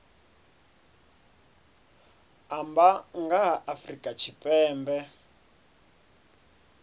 amba nga ha afrika tshipembe